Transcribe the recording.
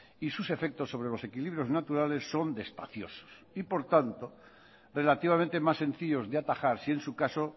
y sus efectos sobre los equilibrios naturales son despaciosos y por tanto relativamente más sencillos de atajar si en su caso